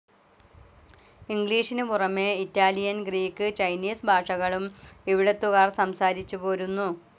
ഇംഗ്ലീഷിനുപുറമെ Italian, Greek, Chinese ഭാഷകളും ഇവിടുത്തുകാർ സംസാരിച്ചുപോരുന്നു.